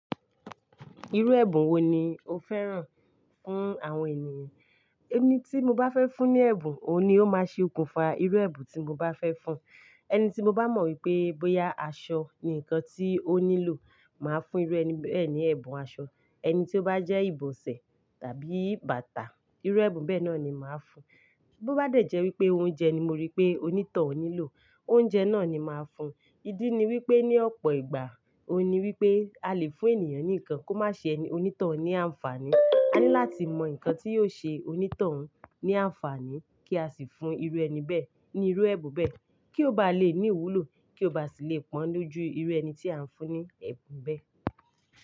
Irú ẹ̀bùn wo ni o fẹ́ràn fún àwọn ènìyàn? Ẹni tí mo bá fẹ́ fún ní ẹ̀bùn, òun ni ó máa ṣe okùnfà irú ẹ̀bùn tí mo bá fẹ́ fún. Ẹni tí mo bá mọ wípé bóyá aṣọ ni ǹkan tí ó nílò, màá fún irú ẹni bẹ́ẹ̀ ní ẹ̀bùn aṣọ. Ẹni tí ó bá jẹ́ ìbòsẹ̀ tàbí bàtà, irú ẹ̀bùn bẹ́ẹ̀ náà ni màá fún. Bó bá dẹ̀ jẹ́ wípé oúnjẹ ni mo rí pé onítọ̀hún nílò, oúnjẹ náà ni màá fún. Ídí ni wípé ní ọ̀pọ̀ ìgbà, ó ní wípé a lè fún ènìyàn ní ǹkan kó má ṣe onítọ̀hún ní àǹfààní. A ní láti mọ ǹkan tí yóò ṣe onítọ̀hún ní àǹfààní kí a sì fún irú ẹni bẹ́ẹ̀ ní irú ẹ̀bùn bẹ́ẹ̀ kí ó bá lè ní ìwúlò kí ó bá sì lè pọ́n dúdú irú ẹni tí à ń fún ní ẹ̀bùn bẹ́ẹ̀